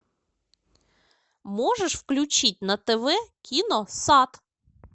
можешь включить на тв кино сад